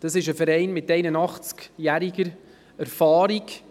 Dieser Verein weist eine Erfahrung von 81 Jahren auf.